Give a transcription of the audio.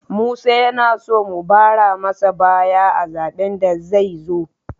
Musa yana so mu bara masa baya a zaben da zai zo